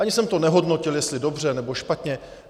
Ani jsem to nehodnotil, jestli dobře, nebo špatně.